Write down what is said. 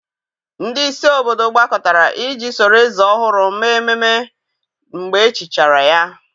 ndị isi obodo gbakọtara iji soro eze ọhụrụ mee ememe mgbe echichichara ya.